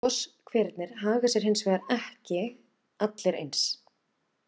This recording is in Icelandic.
Goshverirnir haga sér hins vegar ekki allir eins.